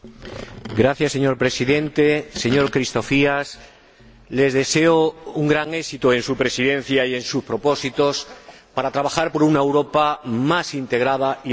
Señor Presidente, señor Christofias, le deseo un gran éxito en su Presidencia y en sus propósitos para trabajar por una Europa más integrada y más justa.